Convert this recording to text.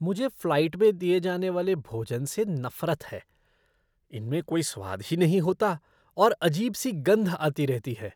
मुझे फ़्लाइट में दिए जाने वाले भोजन से नफ़रत है। इनमें कोई स्वाद ही नहीे होता है और अजीब सी गंध आती रहती है।